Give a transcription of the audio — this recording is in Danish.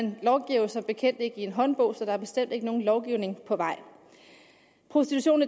vi lovgiver som bekendt ikke i en håndbog så der er bestemt ikke nogen lovgivning på vej prostitution